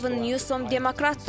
Gavin Newsom demokratdır.